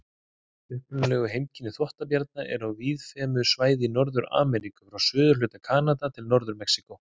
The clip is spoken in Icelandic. Upprunaleg heimkynni þvottabjarna eru á víðfeðmu svæði í Norður-Ameríku, frá suðurhluta Kanada til Norður-Mexíkó.